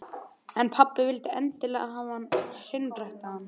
En pabbi vildi endilega hafa hann hreinræktaðan.